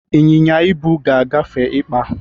ịnyịnya ibu ga-efe ịkpa.